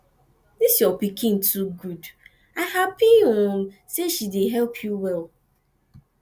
dis your pikin too good i happy um say she dey help you well